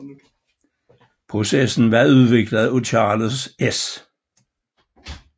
Processen som var udviklet af Charles S